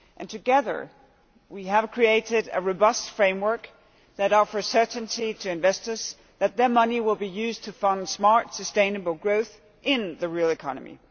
Together we have created a robust framework that offers certainty to investors that their money will be used to fund smart, sustainable growth in the real economy.